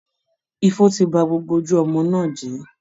Ifo ti ba gbogbo ojú ọmọ náà jẹ́